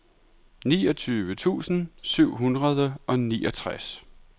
niogtyve tusind syv hundrede og niogtres